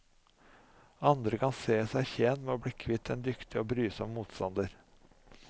Andre kan se seg tjent med å bli kvitt en dyktig og brysom motstander.